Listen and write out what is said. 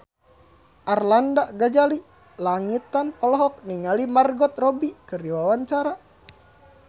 Arlanda Ghazali Langitan olohok ningali Margot Robbie keur diwawancara